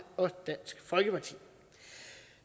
og dansk folkeparti